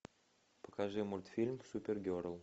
покажи мультфильм супер герл